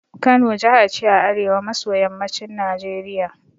Kano jaha ce a arewa maso yammacin Najeriya